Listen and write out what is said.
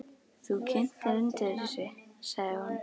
Þú kyntir undir þessu, sagði hún.